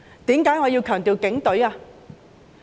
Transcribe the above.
為何我要強調是警隊呢？